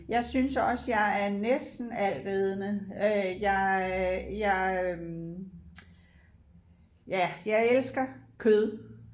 Jeg synes også jeg er næsten altædende øh jeg øh jeg øh ja jeg elsker kød